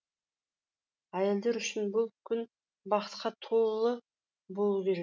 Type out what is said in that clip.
әйелдер үшін бұл күн бақытқа толы болу керек